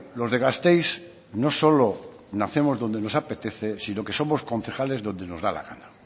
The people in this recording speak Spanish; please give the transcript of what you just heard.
los de gasteiz no solo nacemos donde nos apetece sino que somos concejales donde nos da la gana